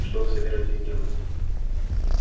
что вы собираетесь делать